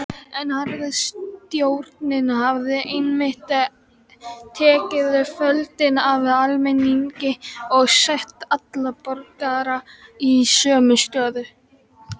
En harðstjórnin hafði einmitt tekið völdin af almenningi og sett alla borgara í sömu stöðu.